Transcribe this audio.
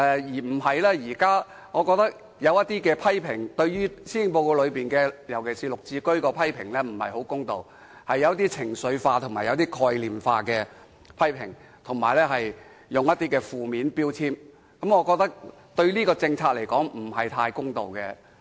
現在有些對施政報告的批評，尤其是對綠置居的批評不太公道，屬於情緒化及概念化的批評，並對這項政策加上負面標籤，我認為是不太公道的。